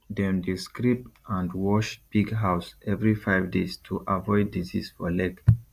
dem dey scrape and wash pig house every five days to avoid disease for leg